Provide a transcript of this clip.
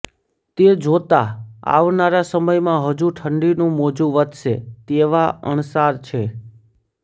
તે જોતાં આવનારા સમયમાં હજુ ઠંડીનું મોજું વધશે તેવા અણસાર છે